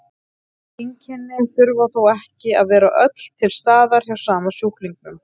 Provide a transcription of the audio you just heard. Þessi einkenni þurfa þó ekki að vera öll til staðar hjá sama sjúklingnum.